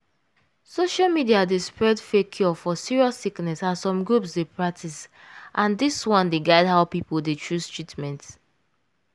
social media dey spread fake cure for serious sickness as some groups dey practice and dis one dey guide how people dey chose treatment.